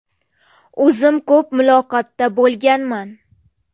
O‘zim ko‘p muloqotda bo‘lganman.